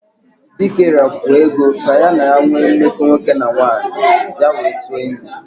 Dike rafuo Ego ka ya na ya nwee mmeko nwoke na nwaanyi ya wee tu ime.